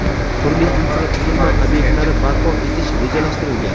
turli infratuzilma ob’ektlari barpo etish rejalashtirilgan.